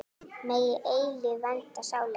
Megi eilífð vernda sálir ykkar.